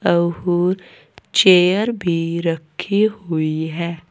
Chair भी रखे हुई है।